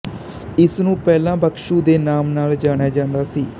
ਇਸ ਨੂੰ ਪਹਿਲਾ ਬਗਸੁ ਦੇ ਨਾਮ ਨਾਲ ਜਾਣਿਆ ਜਾਂਦਾ ਸੀ